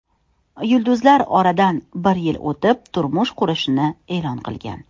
Yulduzlar oradan bir yil o‘tib, turmush qurishini e’lon qilgan.